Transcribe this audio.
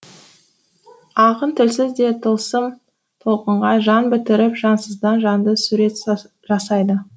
ақын тілсіз де тылсым толқынға жан бітіріп жансыздан жанды сурет жасайды